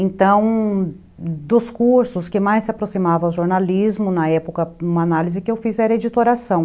Então, dos cursos que mais se aproximavam ao jornalismo, na época, uma análise que eu fiz era editoração.